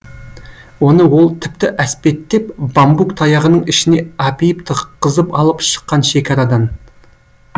оны ол тіпті әспеттеп бамбук таяғының ішіне апиын тыққызып алып шыққан шекарадан